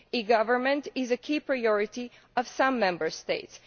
E government is a key priority of some Member States.